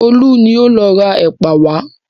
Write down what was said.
Olú ni ó lọ ra ẹ̀pà wá.